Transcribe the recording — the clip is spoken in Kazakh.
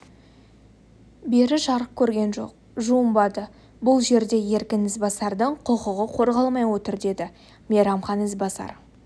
бері жарық көрген жоқ жуынбады бұл жерде еркін ізбасардың құқығы қорғалмай отыр деді мейрамхан ізбасар